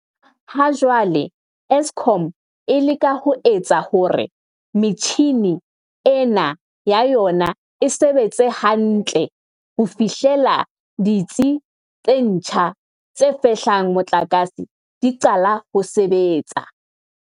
Ha jwale, Eskom e leka ho etsa hore metjhini ena ya yona e sebetse hantle ho fihlela ditsi tse ntjha tse fehlang motlakase di qala ho sebetsa.